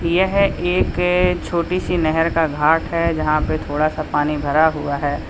यह एक छोटी सी नहर का घाट है जहां पर थोड़ा सा पानी भरा हुआ है।